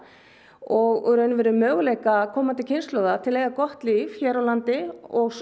og í rauninni möguleika komandi kynslóða til að eiga gott líf hér á landi og